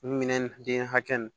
Minɛn nun den hakɛ nun